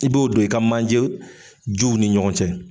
I b'o don i ka manje juw ni ɲɔgɔn cɛ.